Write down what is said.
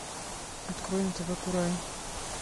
открой на тв курай